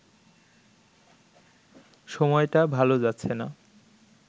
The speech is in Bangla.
সময়টা ভালো যাচ্ছে না